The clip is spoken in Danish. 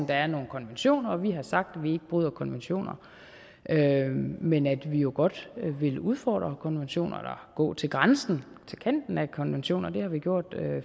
der er nogle konventioner og vi har sagt at vi ikke bryder konventioner men at vi jo godt vil udfordre konventioner eller gå til grænsen til kanten af konventioner det har vi gjort